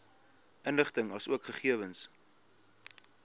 inligting asook gegewens